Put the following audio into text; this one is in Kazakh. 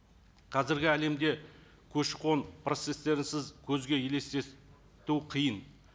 қазіргі әлемді көші қон процесстерінсіз көзге елестету қиын